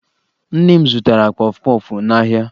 Nne m zụtara kpọfụ kpọfụ n'ahịa